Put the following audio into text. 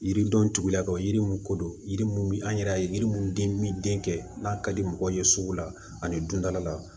Yiridenw tugula ka yiri mun kodɔn yiri an yɛrɛ ye yiri mun di min den kɛ n'a ka di mɔgɔ ye sugu la ani dundala